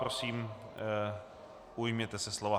Prosím, ujměte se slova.